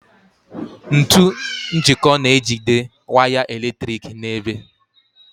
Ntu njiko na-ejide waya eletrik n'ebe.